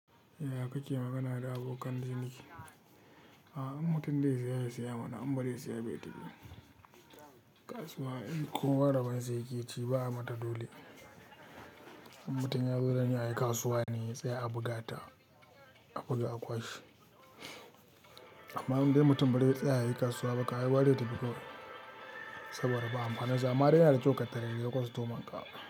Ya kake magana da abokan ciniki? A'a, an mutum dai tsaya ya saya mana, amma dai tsaya bai tafi. Kasuwa in kowa rabon sa ya ƙi ci ba mata dole. In mutum ya zo dan ya yi kasuwa ne sai a buga ta, a buga a kwashe. Amma in dai mutum bai da tsaya ya yi kasuwa ba ka gara dai tafi ko saboda ba amfanin amfani ama ya kyau ka tare da ya kwastomanƙa.